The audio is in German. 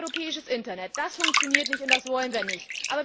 Kein europäisches Internet das funktioniert nicht und das wollen wir nicht.